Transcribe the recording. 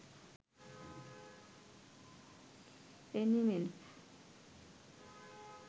animal